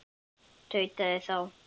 tautaði þá